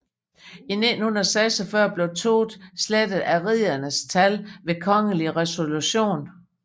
I 1946 blev Todt slettet af riddernes tal ved kongelig resolution